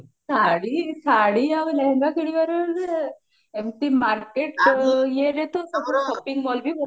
ଶାଢୀ ଶାଢୀ ଆଉ ଲେହେଙ୍ଗା କିଣିବାରେ ତ ଏମତି market ଇଏରେ ବି ତ ସବୁ shopping mall ବି